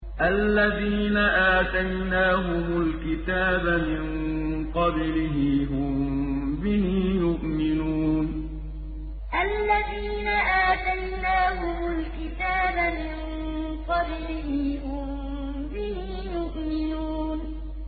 الَّذِينَ آتَيْنَاهُمُ الْكِتَابَ مِن قَبْلِهِ هُم بِهِ يُؤْمِنُونَ الَّذِينَ آتَيْنَاهُمُ الْكِتَابَ مِن قَبْلِهِ هُم بِهِ يُؤْمِنُونَ